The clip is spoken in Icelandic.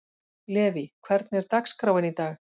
Levý, hvernig er dagskráin í dag?